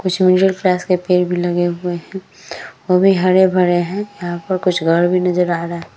कुछ के पेड़ भी लगे हुए है वो भी हरे-भरे है यहाँ पर कुछ घर नजर आ रहे है ।